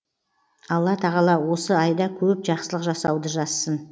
алла тағала осы айда көп жақсылық жасауды жазсын